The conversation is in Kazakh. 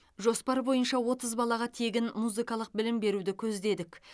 жоспар бойынша отыз балаға тегін музыкалық білім беруді көздедік